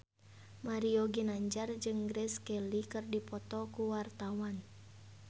Mario Ginanjar jeung Grace Kelly keur dipoto ku wartawan